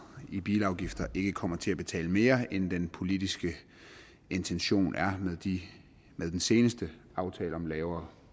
i bilafgifter ikke kommer til at betale mere end den politiske intention er med den seneste aftale om lavere